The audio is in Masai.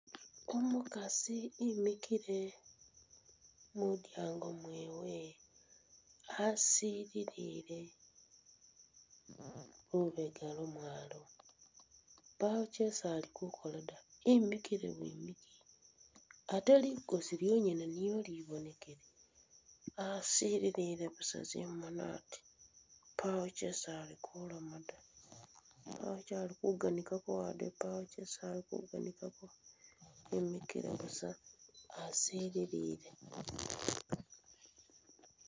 Umukaasi emikhile mulyango mwewe asililile lubeega lwo mwalo, paawo chesi ali kukola da emikile bwimiki, ate ligoosi lyongene libonekile, asililile busa zimoni ati pawo chesi ali kuloma da paawo che ali kuganigako wade paawo chesi ali kuganigako emikile busa asililile.